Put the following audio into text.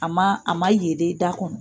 A ma a ma yeele i da kɔnɔ